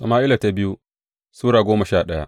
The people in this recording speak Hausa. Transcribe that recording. biyu Sama’ila Sura goma sha daya